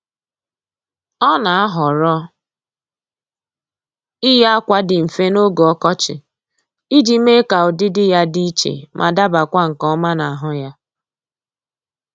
Ọ́ nà-àhọ́rọ́ iyi ákwà dị mfe n’ógè ọkọchị iji mee ka ụ́dị́dị ya dị iche ma dabakwa nke ọma n'ahụ ya